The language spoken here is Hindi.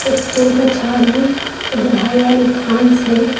एक फूल का झाड़ है इधर हरियाली घास है।